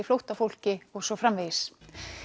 flóttafólki og svo framvegis